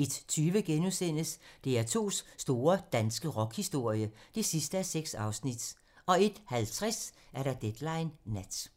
01:20: DR2's store danske rockhistorie (6:6)* 01:50: Deadline nat